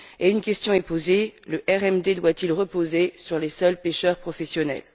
Une question est posée le RMD doit il reposer sur les seuls pêcheurs professionnels?